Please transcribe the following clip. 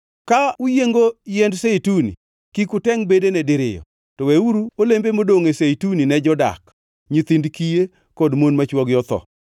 Ka uyiengo yiend zeituni, kik utengʼ bedene diriyo, to weuru olembe modongʼ e zeituni ne jodak, nyithind kiye kod mon ma chwogi otho.